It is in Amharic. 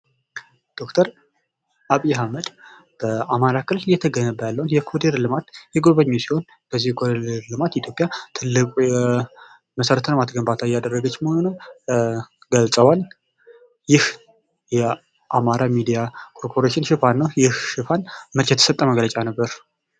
ዶክተር አብይ አህመድ በአማራ ክልል እየተገነባ ያለውን የኮሪደር ልማት የጎበኙ ሲሆን በዚህ ኮሪደር ልማት ኢትዮጵያ ትልቁ የመሠረተ ልማት ግንባታ እያደረገች መሆኑንም ገልጸዋል። ይህ የአማራ ሚዲያ ኮርፖሬሽን ሽፋን ነው። ይህ ሽፋን መቼ የተሰጠ መግለጫ ነበር?